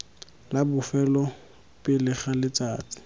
la bofelo pele ga letsatsi